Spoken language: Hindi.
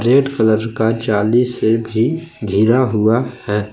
रेड कलर का जाली से भी घिरा हुआ है।